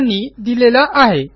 यांनी दिलेला आहे